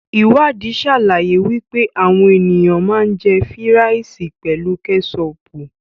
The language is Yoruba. Iwadii sàlàyé wípé àwọn ènìyàn ma ń jẹ́ fíràìsì pelu kẹ́sọpù.